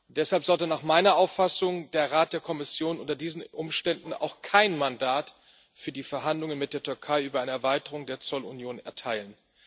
Deshalb sollte nach meiner Auffassung der Rat der Kommission unter diesen Umständen auch kein Mandat für die Verhandlungen mit der Türkei über eine Erweiterung der Zollunion erteilen.